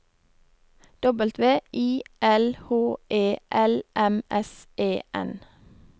W I L H E L M S E N